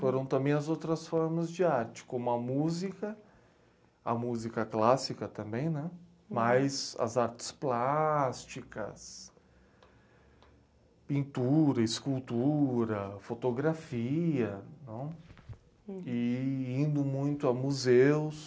Foram também as outras formas de arte, como a música, a música clássica também, mas as artes plásticas, pintura, escultura, fotografia, e indo muito a museus.